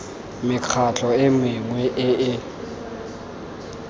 mekgatlho e mengwe e e